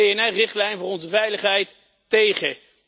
Een PNR-richtlijn voor onze veiligheid tegen.